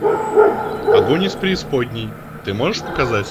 огонь из преисподней ты можешь показать